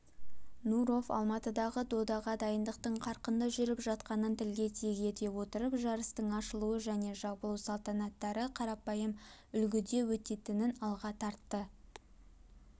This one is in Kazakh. нуров алматыдағы додаға дайындықтың қарқынды жүріп жатқанын тілге тиек ете отырып жарыстың ашылу және жабылу салтанаттары қарапайым үлгіде өтетінін алға тартты